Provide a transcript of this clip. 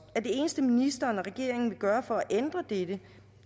at det eneste ministeren og regeringen vil gøre for at ændre dette